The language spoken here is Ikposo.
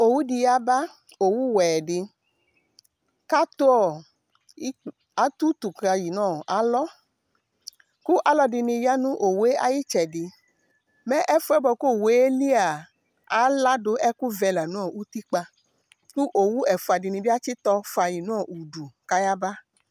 Owu di yaba Owuwɛ di kʋ atʋ utu kayi nʋ alɔ, kʋ alu ɛdɩnɩ ya nʋ owu yɛ ayɩtsɛdɩ Mɛ ɛfʋɛ bʋaku owu yɛ yelia, aladʋ ɛkʋvɛ la nʋ utikpǝ, kʋ owu ɛfʋa dini bɩ atsitɔ fuayi nʋ udu kʋ ayaba